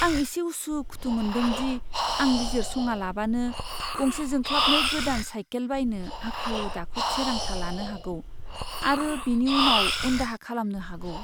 आं एसे उसु खुथु मोनदों दि आं बिजिरसङालाबानो गंसे जोंख्लाबनाय गोदान साइकेल बायनो हाखु दाखु थिरांथा लानो हागौ आरो बेनि उनाव उनदाहा खालामनो हागौ।